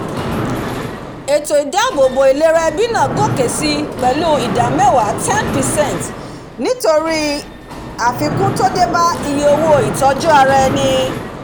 èètò ìdàbòbò ìlera ẹbí náà gòkè sí pèlú ìdá mẹwàá 10 percent nítorí àfikún tó débá iye owó ìtọju ara eni